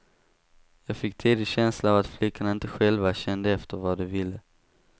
Jag fick tidigt känslan av att flickorna inte själva kände efter vad de ville.